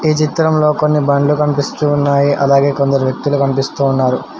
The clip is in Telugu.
ఈ చిత్రంలో కొన్ని బండ్లు కనిపిస్తూ ఉన్నాయి అలాగే కొందరు వ్యక్తులు కనిపిస్తూ ఉన్నారు